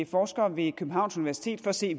forskere ved københavns universitet for at se